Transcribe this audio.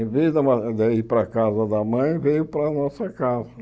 Em vez da de ir para a casa da mãe, veio para a nossa casa.